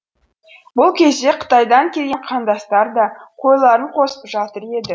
бұл кезде қытайдан келген қандастар да қойларын қосып жатыр еді